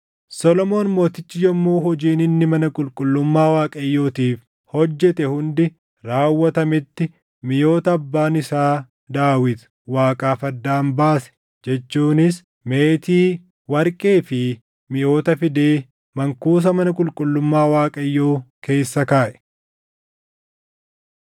Solomoon mootichi yommuu hojiin inni mana qulqullummaa Waaqayyootiif hojjete hundi raawwatametti miʼoota abbaan isaa Daawit Waaqaaf addaan baase jechuunis meetii, warqee fi miʼoota fidee mankuusa mana qulqullummaa Waaqayyoo keessa kaaʼe.